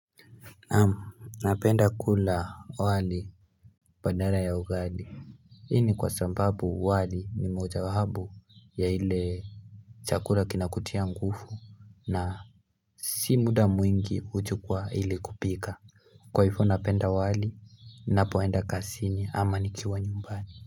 Naam napenda kula wali badala ya ugali hii ni kwa sababu wali ni moja wa hapo ya ile chakula kinakutia nguvu na si muda mwingi huchukuwa ili kupika Kwa hivo napenda wali napoenda kazini ama nikiwa nyumbani.